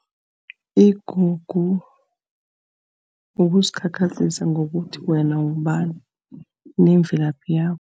Igugu kukuzikhakhazisa ngokuthi wena ngubani, nemvelaphi yakho.